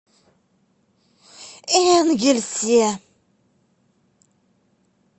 энгельсе